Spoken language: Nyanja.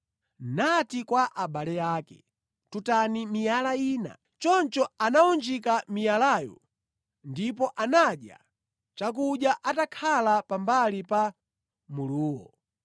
Nati kwa abale ake, “Tutani miyala ina.” Choncho anawunjika miyalayo, ndipo anadya chakudya atakhala pa mbali pa muluwo.